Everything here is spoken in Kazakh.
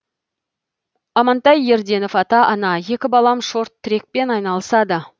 амантай ерденов ата ана екі балам шорт трекпен айналысады